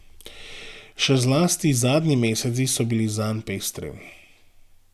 Še zlasti zadnji meseci so bili zanj pestri.